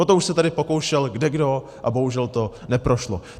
O to už se tady pokoušel kdekdo a bohužel to neprošlo.